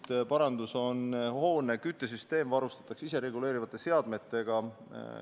Teine parandus on see, et hoone küttesüsteem varustatakse isereguleerivate seadmetega.